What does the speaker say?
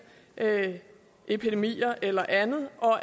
epidemier eller andet og